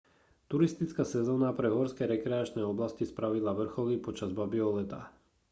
turistická sezóna pre horské rekreačné oblasti spravidla vrcholí počas babieho leta